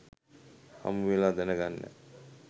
හමු වෙලා දැනගන්න.